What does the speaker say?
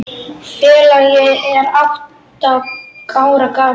Félagið er átta ára gamalt.